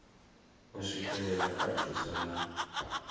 u swikelela kha thuso na